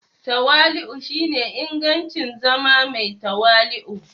Tawali'u shine ingancin zama mai tawali'u.